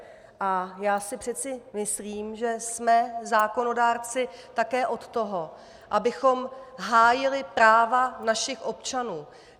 A já si přece myslím, že jsme zákonodárci také od toho, abychom hájili práva našich občanů.